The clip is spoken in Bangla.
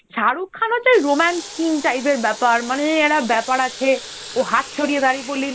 শাহরুখ খান হচ্ছে ওই romance king type এর ব্যাপার মানে একটা ব্যাপার আছে, তো হাত ছড়িয়ে দাঁড়িয়ে পড়লেই